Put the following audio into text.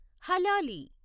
హలాలి